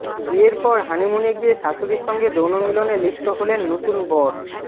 বিয়ের পর হানিমুনে গিয়ে শাশুড়ির সঙ্গে যৌন মিলনে লিপ্ত হলেন নতুন বর